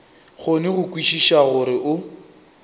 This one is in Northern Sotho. kgone go kwešiša gore o